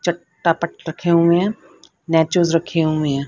रखे हुए है रखे हुए है।